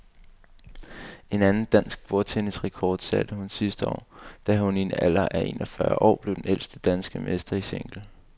En anden dansk bordtennisrekord satte hun sidste år, da hun i en alder af en og fyrre år blev den ældste danske mester i single.